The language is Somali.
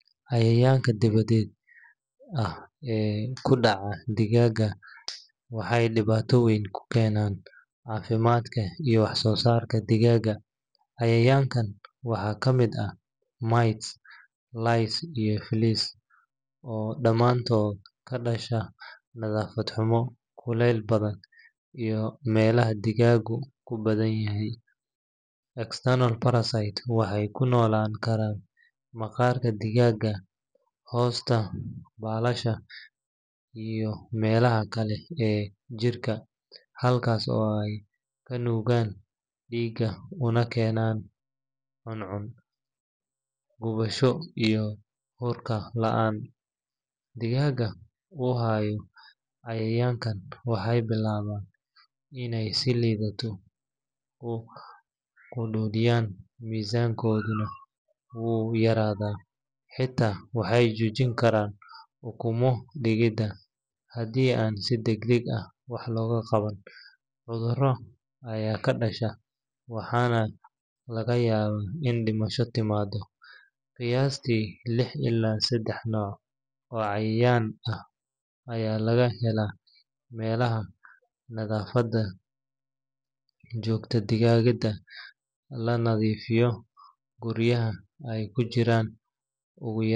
Cayayanka diwaded ee ku daca digaga waxee diwata weyn ku kenan cafimaadka iyo wax sosarka digaga cayayankan waxaa ka miid ah mites lies iyo flies oo damantoda kadasha nadhafaad xumo iyo melaha digagu ku badan yihin, external parasite ka waxee ku nolan karan maqarka digaga hosta balasha iyo melaha kale ee jirka halkas oo ka nugan diga una kenan cun cun guwasho iyo urka an digaga u hayo cayayankan waxee bilaman in ee lumiyan misankodha wuyaradha waxena jojin karan ukumo dalida hadii aad si dag dag ah wax loga qawanin cudhuro aya ka dasha markana laga yawa in ee dimasho timado ila tawo cayayan aya laga hela nadhafaada jogtada ah lanadhifiyo guriyaha ee ku jiran.